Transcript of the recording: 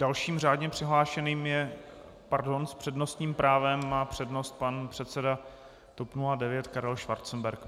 Dalším řádně přihlášeným je - pardon, s přednostním právem má přednost pan předseda TOP 09 Karel Schwarzenberg.